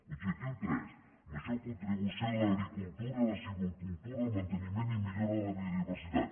objectiu tres major contribució de l’agricultura la silvicultura al manteniment i millora de la biodiversitat